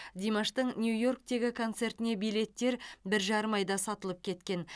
димаштың нью йорктегі концертіне билеттер бір жарым айда сатылып кеткен